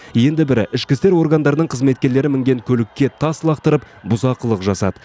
енді бірі ішкі істер органдарының қызметкерлері мінген көлікке тас лақтырып бұзақылық жасады